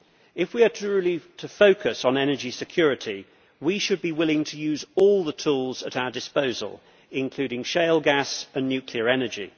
If we are to relieve the focus on energy security, we should be willing to use all the tools at our disposal, including shale gas and nuclear energy.